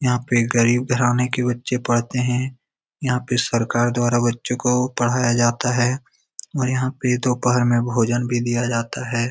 यहाँ पे गरीब घराने के बच्चे पढ़ते हैं यहाँ पे सरकार द्वारा बच्चो को पढ़ाया जाता है और यहाँ पे दोहपर में भोजन भी दिया जाता है।